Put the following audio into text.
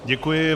Děkuji.